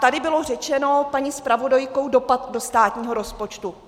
Tady bylo řečeno paní zpravodajkou - dopad do státního rozpočtu.